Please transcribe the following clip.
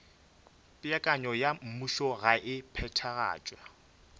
peakanyo ya mmušogae e phethagatšwa